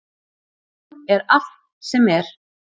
Hún er allt sem er.